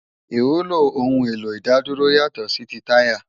Iwúló óoun éló idádúró yátò si ti tàyá